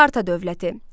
Sparta dövləti.